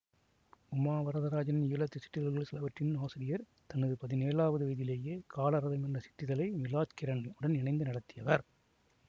உமா வரதராஜன் ஈழத்துச் சிற்றிதழ்கள் சிலவற்றின் ஆசிரியர் தனது பதினேலாவது வயதிலேயே காலரதம் என்ற சிற்றிதழை மீலாத்கீரன் உடன் இணைந்து நடத்தியவர்